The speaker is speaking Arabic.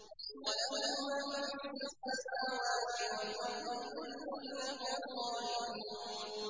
وَلَهُ مَن فِي السَّمَاوَاتِ وَالْأَرْضِ ۖ كُلٌّ لَّهُ قَانِتُونَ